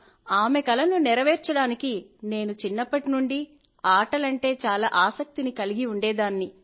ఆమె కలను నెరవేర్చడానికి నేను చిన్నప్పటి నుండి ఆటలంటే చాలా ఆసక్తిని కలిగి ఉండేదాన్ని